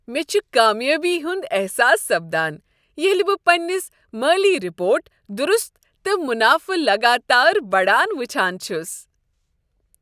مےٚ چھُ کامیابی ہُند احساس سپدان ییٚلہ بہٕ پننس مٲلی رپورٹ درُست تہٕ منافہٕ لگاتار بڑان وچھان چھُس۔